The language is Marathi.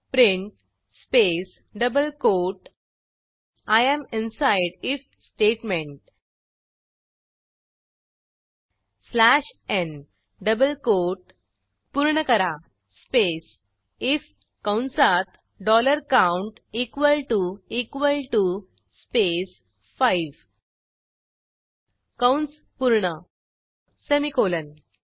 print space double quote I am inside if statement slash n double quote पूर्ण करा स्पेस आयएफ कंसातdollar count equal T O equal T O space 5 कंस पूर्ण सेमिकोलॉन